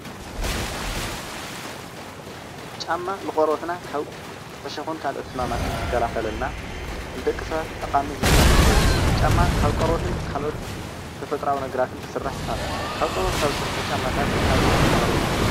ጫማ ንቆርበትና ካብ እሾክን ካልኦት ሕማማትን ዝከላከለልና ንደቂ ሰባት ጠቃሚ ዝብሃል ነገር እዩ፡፡ ጫማ ካብ ቆርበትን ካብ ካልኦት ተፈጥራዊ ነገራትን ክስራሕ ይህእል፡፡ ኣብ ቆርበት ካብ ዝስርሑ ጫማታት ኣብነት ኣቅርቡ?